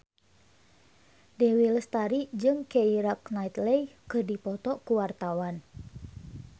Dewi Lestari jeung Keira Knightley keur dipoto ku wartawan